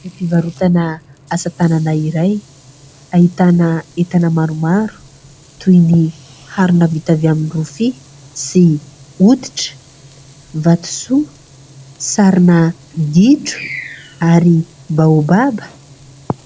Toeram-pivarotana asatanana iray ahitana entana maromaro toy ny harona vita avy amin'ny rofia sy hoditra, vatosoa, sarina gidro ary "baobab".